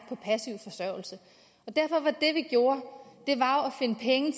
på passiv forsørgelse derfor var det vi gjorde at var